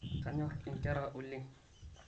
kanyor inkera oleng